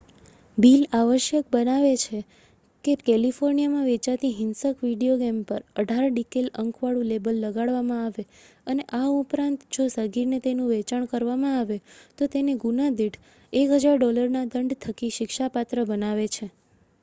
"Bill આવશ્યક બનાવે છે કે કેલિફોર્નિયામાં વેચાતી હિંસક વિડિયો ગેમ પર "18" ડિકૅલ અંકવાળું લેબલ લગાડવામાં આવે અને આ ઉપરાંત જો સગીરને તેનું વેચાણ કરવામાં આવે તો તેને ગુના દીઠ $1,000ના દંડ થકી શિક્ષાપાત્ર બનાવે છે.